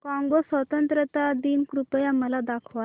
Congo स्वतंत्रता दिन कृपया मला दाखवा